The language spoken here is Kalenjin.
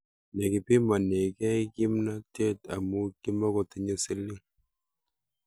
Nekipimanekei kimnatet amu kimakotinyei siling